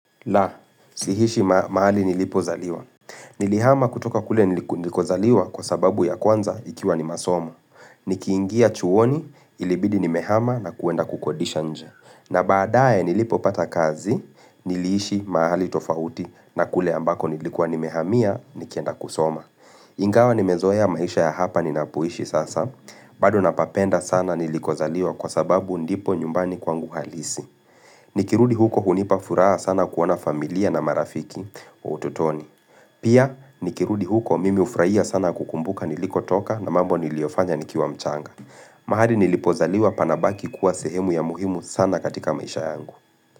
La, siishi mahali nilipozaliwa. Nilihama kutoka kule nilikozaliwa kwa sababu ya kwanza ikiwa ni masomo. Nikiingia chuoni ilibidi nimehama na kwenda kukodisha nje. Na baadaye nilipopata kazi niliishi mahali tofauti na kule ambako nilikuwa nimehamia nikienda kusoma. Ingawa nimezoa maisha ya hapa ni napoishi sasa bado napapenda sana nilikozaliwa kwa sababu ndipo nyumbani kwangu halisi nikirudi huko hunipa furaha sana kuona familia na marafiki wa ututoni Pia nikirudi huko mimi ufurahia sana kukumbuka nilikotoka na mambo niliyofanya nikiwa mchanga mahali nilipozaliwa panabaki kuwa sehemu ya muhimu sana katika maisha yangu.